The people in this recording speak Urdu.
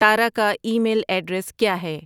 تارا کا ای میل ایڈریس کیا ہے